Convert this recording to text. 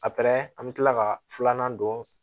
A an bɛ tila ka filanan don